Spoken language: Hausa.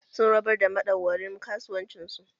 Sun rabar da madauwarin kasuwanci su